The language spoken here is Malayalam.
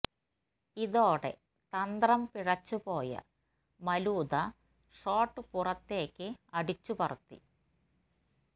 ഇതോടെ തന്ത്രം പിഴച്ചു പോയ മലൂദ ഷോട്ട് പുറത്തേയ്ക്കു അടിച്ചു പറത്തി